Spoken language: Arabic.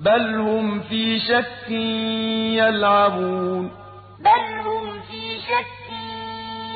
بَلْ هُمْ فِي شَكٍّ يَلْعَبُونَ بَلْ هُمْ فِي شَكٍّ